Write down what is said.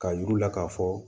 K'a yir'u la k'a fɔ